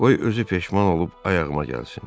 Qoy özü peşman olub ayağıma gəlsin.